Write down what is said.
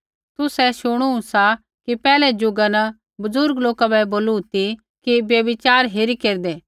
तुसै शुणू सा कि पैहलै ज़ुगा न बुज़ुर्ग लोका बै बोलू ती कि व्यभिचार हेरीत् केरदै